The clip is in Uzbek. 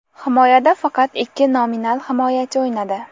Himoyada faqat ikki nominal himoyachi o‘ynadi.